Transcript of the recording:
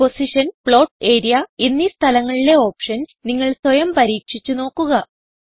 position plot area എന്നീ സ്ഥലങ്ങളിലെ options നിങ്ങൾ സ്വയം പരീക്ഷിച്ച് നോക്കുക